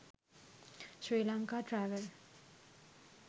srilanka travel